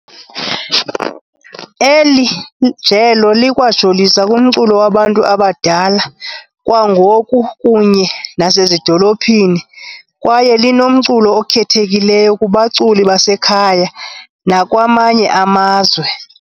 Eli jelo likwajolisa kumculo wabantu abadala wangoku kunye nasezidolophini kwaye linomculo okhethekileyo kubaculi basekhaya nakwamanye amazwe.